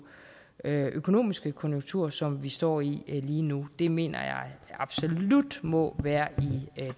økonomiske konjunkturer som vi står i lige nu det mener jeg absolut må være i